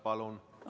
Palun!